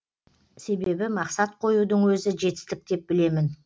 себебі мақсат қоюдың өзі жетістік деп білемін